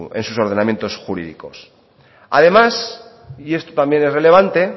en sus ordenamientos jurídicos además y esto también es relevante